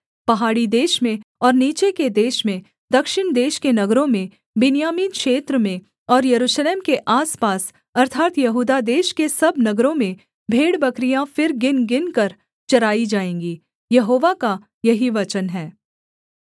पहाड़ी देश में और नीचे के देश में दक्षिण देश के नगरों में बिन्यामीन क्षेत्र में और यरूशलेम के आसपास अर्थात् यहूदा देश के सब नगरों में भेड़बकरियाँ फिर गिनगिनकर चराई जाएँगी यहोवा का यही वचन है